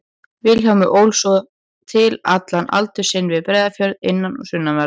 Vilhjálmur ól svo til allan aldur sinn við Breiðafjörð, innan- og sunnanverðan.